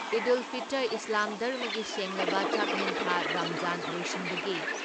ꯏꯗꯨꯜ ꯐꯤꯇꯔ ꯏꯁꯂꯥꯝ ꯙꯔꯃꯒꯤ ꯁꯦꯡꯂꯕ ꯆꯥꯛꯍꯦꯟ ꯊꯥ ꯔꯥꯝꯖꯥꯟ ꯂꯣꯏꯁꯤꯟꯕꯒꯤ